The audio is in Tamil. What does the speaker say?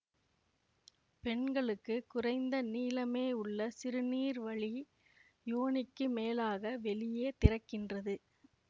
பெண்களுக்கு குறைந்த நீளமே உள்ள சிறுநீர்வழி யோனிக்கு மேலாக வெளியே திறக்கின்றது